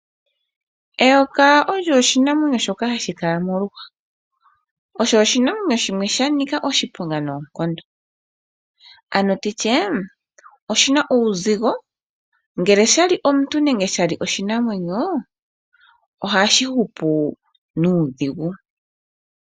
Eyoka olyo oshinamwenyo shoka hashi kala moluhwa . Osho oshinamwenyo shimwe shanika oshiponga noonkondo ano nditye oshina uuzigo ngele shali omuntu nenge oshinamwenyo, ohashi hupu nuudhigu.